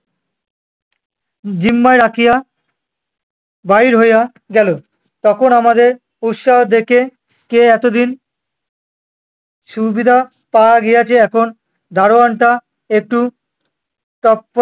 জিম্মায় রাখিয়া বাহির হইয়া গেল। তখন আমাদের উৎসাহ দেখে, কে এতদিন সুবিধা পাওয়া গিয়াছে এখন দারোয়ানটা একটু তফা~